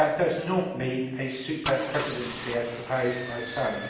That does not mean a super presidency, as proposed by some.